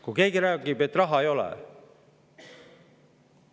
Kui keegi räägib, et raha ei ole …